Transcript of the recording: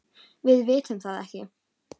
Við vitum það ekki.